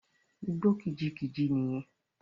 Igbó kìjikìji nì yẹn.